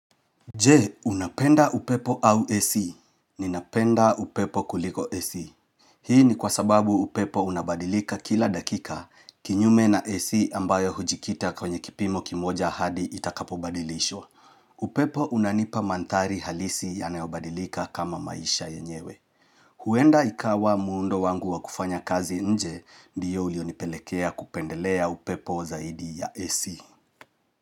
Je, unapenda upepo au AC? Ninapenda upepo kuliko AC. Hii ni kwa sababu upepo unabadilika kila dakika kinyume na AC ambayo hujikita kwenye kipimo kimoja hadi itakapobadilishwa. Upepo unanipa mandhari halisi yanayobadilika kama maisha yenyewe. Huenda ikawa muundo wangu wa kufanya kazi nje diyo ulionipelekea kupendelea upepo zaidi ya AC.